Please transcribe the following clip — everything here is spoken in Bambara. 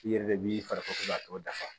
I yɛrɛ de b'i fari tɔ dafa